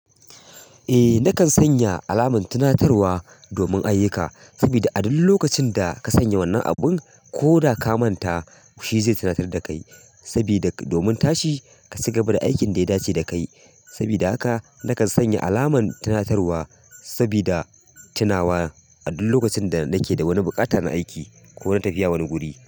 Eh, nakan sanya alamar tunatarwa domin ayyuka sabida a duk lokacin da ka sanya wannan abun ko da ka manta shi zai tunatar da kai sabida domin tashi ka ci gaba da aikin da ya dace da kai. Sabida haka nakan sanya alamar tunatarwa sabida tunawa a duk lokacin da nake da wani buƙatar aiki ko na tafiya wani guri.